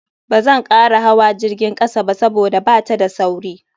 Bazan kara hawa jirgin kasa ba saboda bata da sauri.